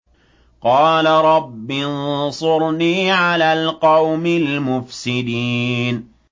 قَالَ رَبِّ انصُرْنِي عَلَى الْقَوْمِ الْمُفْسِدِينَ